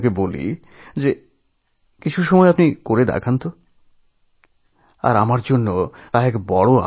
তখন আগ্রহী হলাম দেখাতে বললাম কেমন সে মিমিক্রি